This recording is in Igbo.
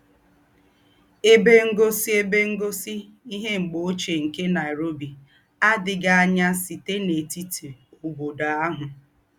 Èbè Ńgósí Èbè Ńgósí Íhé M̀gbè Óchíè nké Nairobi àdì̀ghí ànyá sítè n’ètítì óbódò àhù.